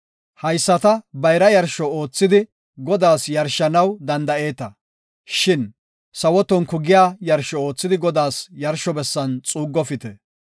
Hayisata bayra yarsho oothidi Godaas yarshanaw danda7eeta, shin sawo tonku giya yarsho oothidi Godaas yarsho bessan xuuggofite.